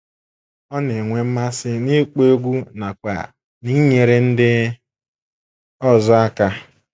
Ọ na - enwe mmasị n’ịkpọ egwú nakwa n’inyere ndị ọzọ aka.